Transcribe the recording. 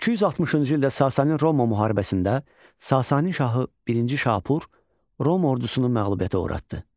260-cı ildə Sasani-Roma müharibəsində Sasani şahı Birinci Şapur Roma ordusunu məğlubiyyətə uğratdı.